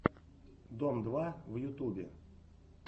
дом два в ютубе